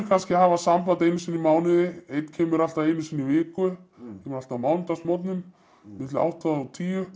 kannski samband einu sinni í mánuði einn kemur alltaf einu sinni í viku kemur alltaf á mánudagsmorgnum milli átta og tíu